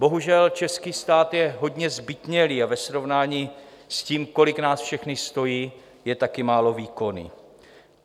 Bohužel, český stát je hodně zbytnělý a ve srovnání s tím, kolik nás všechny stojí, je taky málo výkonný.